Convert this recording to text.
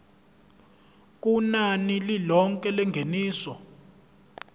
kunani lilonke lengeniso